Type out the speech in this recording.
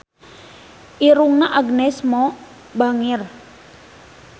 Irungna Agnes Mo bangir